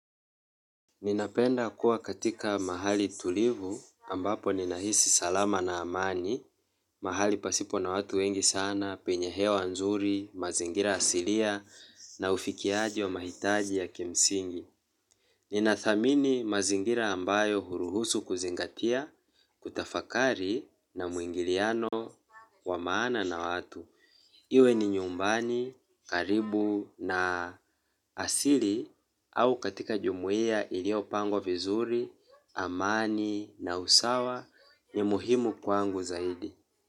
Ninapenda kuwa katika mahali tulivu ambapo ninahisi salama na amani, mahali pasipo na watu wengi sana, penye hewa nzuri, mazingira asilia na ufikiaji wa mahitaji ya kimsingi. Ninathamini mazingira ambayo huruhusu kuzingatia, kutafakari na muingiliano wa maana na watu. Iwe ni nyumbani, karibu na asili au katika jumuiya iliyopangwa vizuri, amani na usawa ni muhimu kwangu zaidi.